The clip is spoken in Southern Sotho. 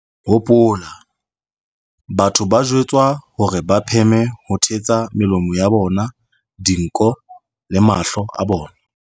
Hopola, batho ba jwetswa hore ba pheme ho thetsa melomo, dinko le mahlo a bona.